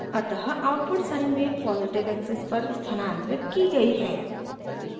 अतः output sine wave positive axis पर स्थानांतरित की गई है